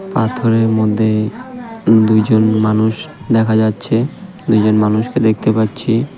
পাথরের মধ্যে দুজন মানুষ দেখা যাচ্ছে দুজন মানুষকে দেখতে পাচ্ছি .